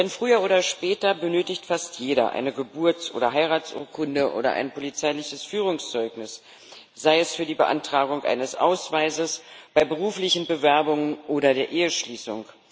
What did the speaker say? Denn früher oder später benötigt fast jeder eine Geburts oder Heiratsurkunde oder ein polizeiliches Führungszeugnis sei es für die Beantragung eines Ausweises, bei beruflichen Bewerbungen oder der Eheschließung.